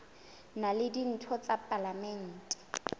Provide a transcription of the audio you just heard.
na le ditho tsa palamente